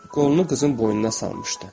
Qolunu qızın boynuna salmışdı.